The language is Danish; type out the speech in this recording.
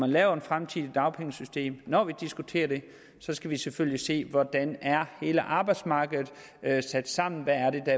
laver det fremtidige dagpengesystem når vi diskuterer det så skal vi selvfølgelig se hvordan hele arbejdsmarkedet er sat sammen hvad det er